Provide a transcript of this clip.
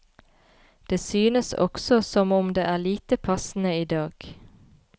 Det synes også som om det er lite passende i dag.